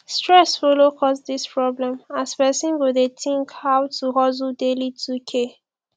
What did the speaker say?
stress follow cause dis problem as pesin go dey tink ow to hustle daily 2k